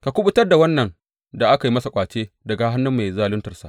Ka kuɓutar da wannan da aka yi masa ƙwace daga hannun mai zaluntarsa.